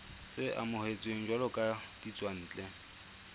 tse amohetsweng jwalo ka ditswantle